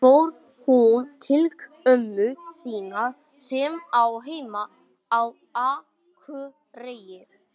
Hún fór til ömmu sinnar sem á heima á Akureyri.